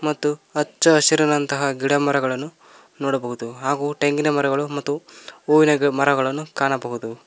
ಮತ್ತು ಹಚ್ಚ ಹಸಿರಿನಂತಹ ಗಿಡಮರಗಳನ್ನು ನೋಡಬಹುದು ಹಾಗು ತೆಂಗಿನ ಮರಗಳು ಮತ್ತು ಹೂವಿನ ಮರಗಳನ್ನು ಕಾಣಬಹುದು.